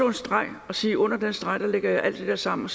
en streg og sige at under den streg lægge jeg alt det der sammen og